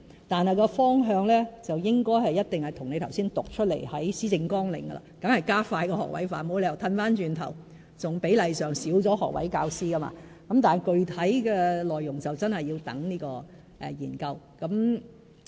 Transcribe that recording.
但是，方向一定是與你剛才讀出施政綱領的內容一致的，當然是加快學位化，沒有理由倒退為減少學位教師的比例，但具體內容真的要待研究完成才決定。